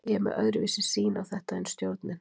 Ég er með öðruvísi sýn á þetta en stjórnin.